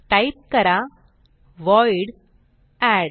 type करा void add